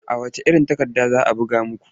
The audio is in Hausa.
A wacce iron takarda za a buga muku?